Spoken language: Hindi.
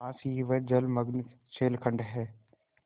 पास ही वह जलमग्न शैलखंड है